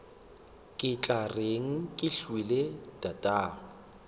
ke tla reng kehwile tatagwe